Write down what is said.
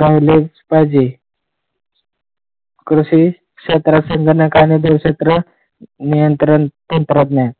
राहिलेच पाहिजे. कृषी क्षेत्र, संगणक क्षेत्र, नियंत्रण आणि तंत्रज्ञान.